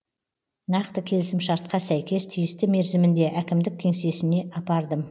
нақты келісімшартқа сәйкес тиісті мерзімінде әкімдік кеңсесіне апардым